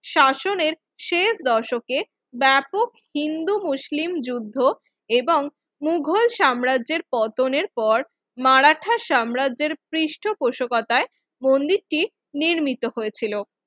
শাসনের শেষ দশকের ব্যাপক হিন্দু মুসলিম যুদ্ধ এবং মুঘল সাম্রাজ্যের পতনের পর মারাঠা সাম্রাজ্যের পৃষ্ঠা পোষকতায় মন্দিরটি নির্মিত হয়েছিল